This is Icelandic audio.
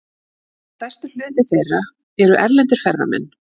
Stærstur hluti þeirra eru erlendir ferðamenn.